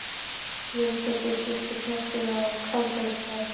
Jón Pétursson, síðar prestur á Kálfafellsstað.